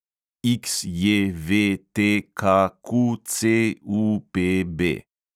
XJVTKQCUPB